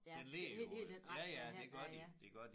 Ja hele hele den retning henad ja